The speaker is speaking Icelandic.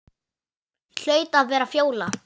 Hlaut að vera Fjóla.